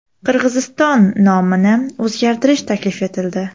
Qirg‘iziston nomini o‘zgartirish taklif etildi.